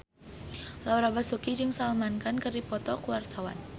Laura Basuki jeung Salman Khan keur dipoto ku wartawan